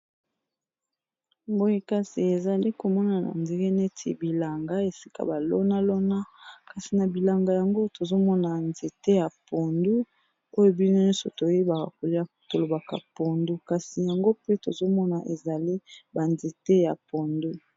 Nazali komona na nzete neti bilanga esika balonalona kasi na bilanga yango tozomona nzete ya pondu oyo bino nyonso toyebaka kolia tolobaka pondu kasi yango pe tozomona ezali banzete ya pondu